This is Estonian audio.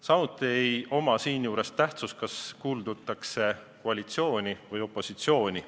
Samuti ei oma siinjuures tähtsust, kas kuulutakse koalitsiooni või opositsiooni.